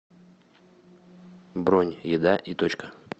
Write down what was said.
бронь еда и точка